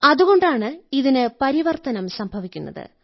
അതുകൊണ്ടാണ് ഇതിന് പരിവർത്തനം സംഭവിക്കുന്നത്